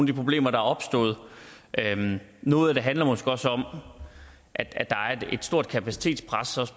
de problemer der er opstået noget af det handler måske også om at der er et stort kapacitetspres